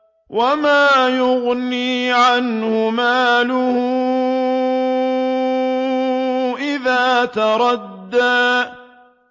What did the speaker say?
وَمَا يُغْنِي عَنْهُ مَالُهُ إِذَا تَرَدَّىٰ